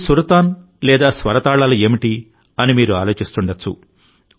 ఈ సుర్తాన్ లేదా స్వర తాళాలు ఏమిటి అని మీరు ఆలోచిస్తుండవచ్చు